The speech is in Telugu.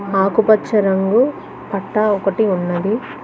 ఆకుపచ్చ రంగు పట్టా ఒకటి ఉన్నది.